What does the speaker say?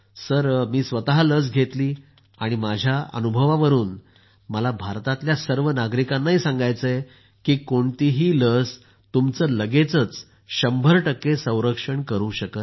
मी स्वतः लस घेतली आणि माझ्या अनुभवावरून मला भारताच्या सर्व नागरिकांना सांगायचं आहे की कोणतीही लस तुमचं लगेचच 100 संरक्षण करू शकत नाही